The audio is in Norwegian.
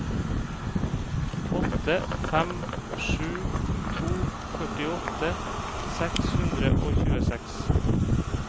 åtte fem sju to førtiåtte seks hundre og tjueseks